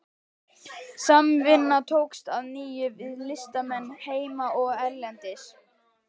Samvinna tókst að nýju við listamenn heima og erlendis.